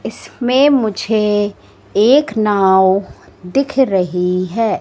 इसमें मुझे एक नांव दिख रही है।